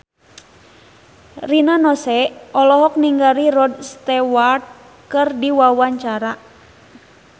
Rina Nose olohok ningali Rod Stewart keur diwawancara